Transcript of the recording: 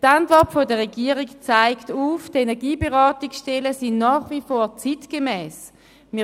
Die Antwort der Regierung zeigt auf, dass die Energieberatungsstellen nach wie vor zeitgemäss sind.